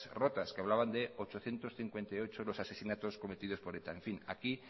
rotas que hablaban de ochocientos cincuenta y ocho los asesinatos cometidos por eta aquí